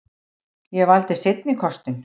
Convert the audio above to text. Ég valdi seinni kostinn.